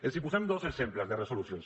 els posem dos exemples de resolucions